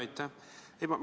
Jaa, aitäh!